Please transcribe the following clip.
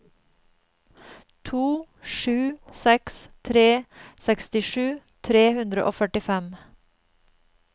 to sju seks tre sekstisju tre hundre og førtifem